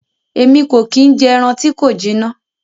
Èmí ko ki n jẹ ẹran ti ko jina.